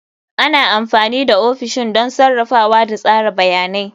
Ana amfani da ofishin don sarrafawa da tsara bayanai.